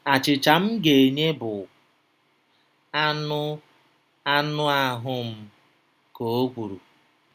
“Achịcha m ga-enye bụ anụ anụ ahụ m,” ka o kwuru.